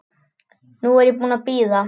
Nú er ég búin að bíða.